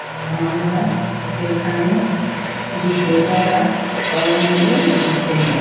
আমরা এখানে বিকেলবেলা সবাই মিলে ঘুরতে যাই।